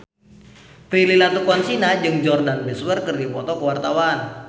Prilly Latuconsina jeung Jordana Brewster keur dipoto ku wartawan